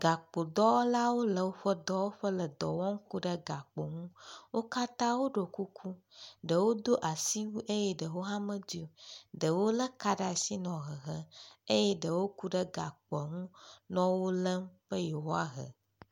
Gakpodɔwɔlawo le woƒe dɔwɔƒe le dɔ wɔm ku ɖe gakpo ŋu. Wo katã woɖo kuku ɖewo do asiwui eye ɖewo hã medoe o. Ɖewo le eka ɖe asi nɔ hehem eye ɖewo ku ɖe gakpo u le wo lem be yewoa he.